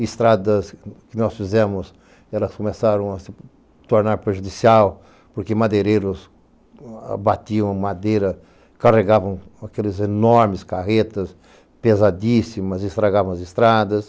Estradas que nós fizemos, elas começaram a se tornar perjudicial porque madeireiros abatiam madeira, carregavam aquelas enormes carretas pesadíssimas, estragavam as estradas.